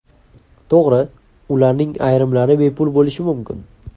To‘g‘ri, ularning ayrimlari bepul bo‘lishi mumkin.